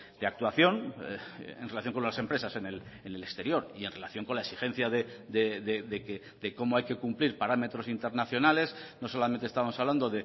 de actuación en relación con las empresas en el exterior y en relación con la exigencia de cómo hay que cumplir parámetros internacionales no solamente estamos hablando